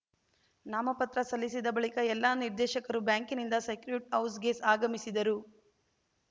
ನಾಮಪತ್ರ ಸಲ್ಲಿಸಿದ ಬಳಿಕ ಎಲ್ಲ ನಿರ್ದೇಶಕರೂ ಬ್ಯಾಂಕಿನಿಂದ ಸೆಕ್ರ್ಯೂಟ್‌ ಹೌಸ್‌ಗೆ ಆಗಮಿಸಿದರು